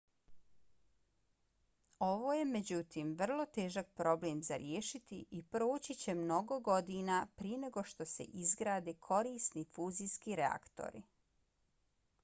ovo je međutim vrlo težak problem za riješiti i proći će mnogo godina prije nego što se izgrade korisni fuzijski reaktori